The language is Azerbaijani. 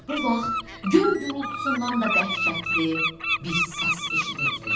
Elə bu vaxt göy gurultusundan da dəhşətli bir səs eşidildi.